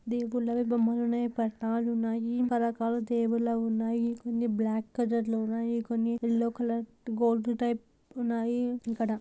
దేవుళ్ళవి బొమ్మలున్నవి పటాలున్నాయిపలు రకరకాల దేవులున్నాయి కొన్ని బ్లాక్ కలర్లో ఉన్నాయి కొన్ని యెల్లో కలర్ గోల్డ్ టైప్ ఉన్నాయి ఇక్కడ.